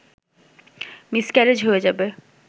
miscarriage হয়ে যাবে